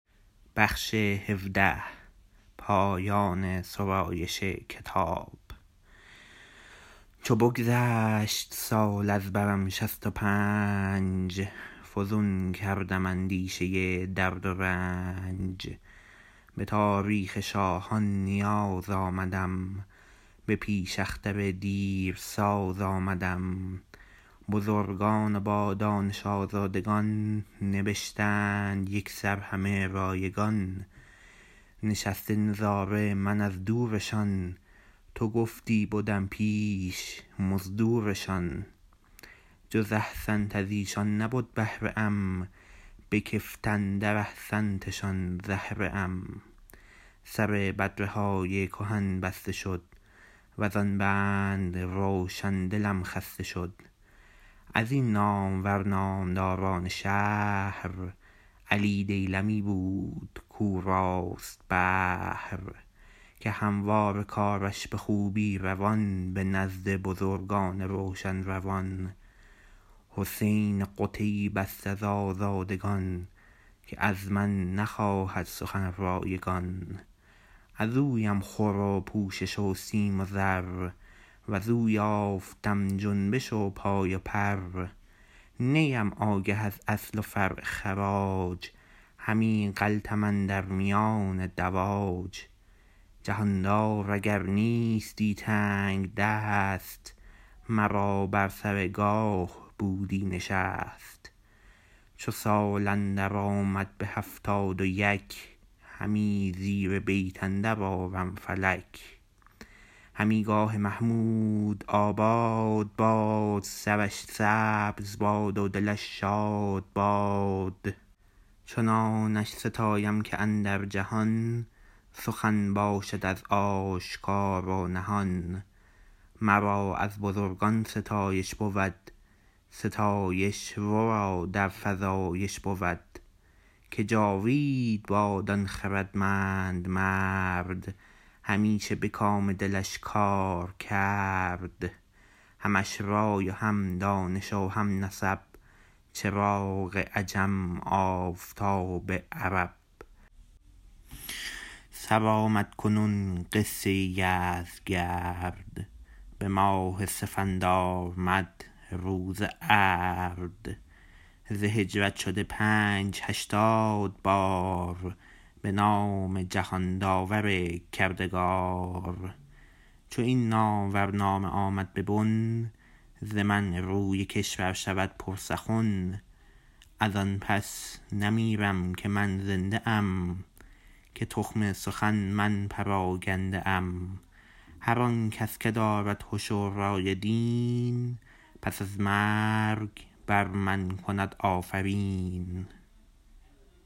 چو بگذشت سال از برم شست و پنج فزون کردم اندیشه و درد و رنج به تاریخ شاهان نیاز آمدم به پیش اختر دیرساز آمدم بزرگان و بادانش آزادگان نبشتند یکسر همه رایگان نشسته نظاره من از دورشان تو گفتی بدم پیش مزدورشان جز احسنت از ایشان نبد بهره ام بکفت اندر احسنتشان زهره ام سر بدره های کهن بسته شد وزان بند روشن دلم خسته شد ازین نامور نامداران شهر علی دیلمی بود کو راست بهر که همواره کارش بخوبی روان به نزد بزرگان روشن روان حسین قتیب است از آزادگان که از من نخواهد سخن رایگان ازویم خور و پوشش و سیم و زر وزو یافتم جنبش و پای و پر نیم آگه از اصل و فرع خراج همی غلتم اندر میان دواج جهاندار اگر نیستی تنگ دست مرا بر سر گاه بودی نشست چو سال اندر آمد به هفتاد و یک همی زیر بیت اندر آرم فلک همی گاه محمود آباد باد سرش سبز باد و دلش شاد باد چنانش ستایم که اندر جهان سخن باشد از آشکار و نهان مرا از بزرگان ستایش بود ستایش ورا در فزایش بود که جاوید باد آن خردمند مرد همیشه به کام دلش کار کرد همش رای و هم دانش و هم نسب چراغ عجم آفتاب عرب سرآمد کنون قصه یزدگرد به ماه سفندارمذ روز ارد ز هجرت شده پنج هشتاد بار به نام جهانداور کردگار چو این نامور نامه آمد به بن ز من روی کشور شود پر سخن از آن پس نمیرم که من زنده ام که تخم سخن من پراگنده ام هر آنکس که دارد هش و رای و دین پس از مرگ بر من کند آفرین